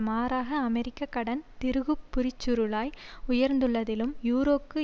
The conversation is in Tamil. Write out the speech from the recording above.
மாறாக அமெரிக்க கடன் திருகுப்புரிச்சுருளாய் உயர்ந்துள்ளதிலும் யூரோக்கு